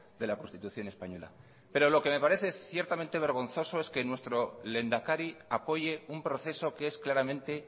de la constitución española pero lo que me parece ciertamente vergonzoso es que nuestro lehendakari apoye un proceso que es claramente